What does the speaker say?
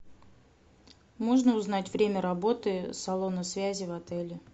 можно узнать время работы салона связи в отеле